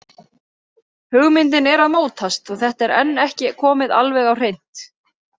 Hugmyndin er að mótast og þetta er enn ekki komið alveg á hreint.